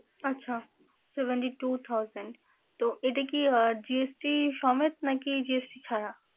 আচ্ছা seventy two thousand । তো এটা কি GST সমেত নাকি GST ছাড়া?